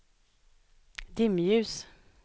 dimljus